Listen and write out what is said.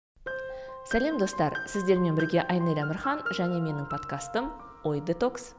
сәлем достар сіздермен бірге айнель әмірхан және менің подкастым ой детокс